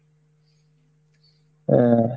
হ্যাঁ,